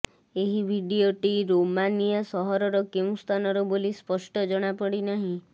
ଏହି ଭିଡିଓଟି ରୋମାନିଆ ସହରର କେଉଁ ସ୍ଥାନର ବୋଲି ସ୍ପଷ୍ଟ ଜଣାପଡିନାହିଁ